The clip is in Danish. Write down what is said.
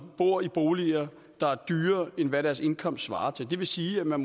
bor i boliger der er dyrere end hvad deres indkomst svarer til det vil sige at man